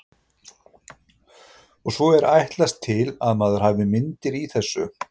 Og svo er ætlast til að maður hafi myndir í þessu.